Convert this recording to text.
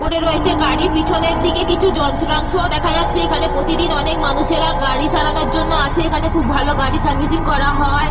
পড়ে রয়েছে। গাড়ির পিছনের দিকে কিছু যন্ত্রাংশও দেখা যাচ্ছে। এখানে প্রতিদিন অনেক মানুষেরা গাড়ি সারানোর জন্য আসে। এখানে খুব ভালো গাড়ি সার্ভিসিং করা হয়।